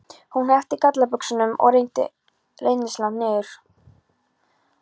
Hún hneppti gallabuxunum frá og renndi rennilásnum niður.